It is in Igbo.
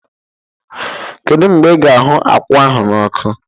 Kedụ mgbe i ga-ahụ akwụ ahụ n'ọkụ?